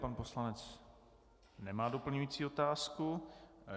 Pan poslanec nemá doplňující otázku.